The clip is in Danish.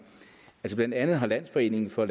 blandt andet har landsforeningen for